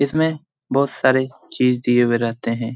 इसमें बहुत सारे चीज दिए हुए रहते हैं।